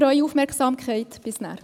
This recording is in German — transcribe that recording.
– Bis gleich.